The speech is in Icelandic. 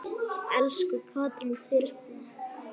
Elsku Katrín Brynja.